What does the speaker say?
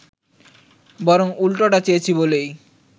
বরং উল্টোটা চেয়েছি বলেই